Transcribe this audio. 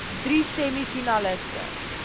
drie semi finaliste